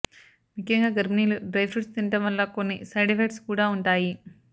ముఖ్యంగా గర్భినీలు డ్రైఫ్రూట్స్ తినడం వల్ల కొన్ని సైడ్ ఎఫెక్ట్స్ కూడా ఉంటాయి